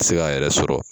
Se k'a yɛrɛ sɔrɔ